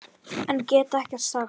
En get ekkert sagt.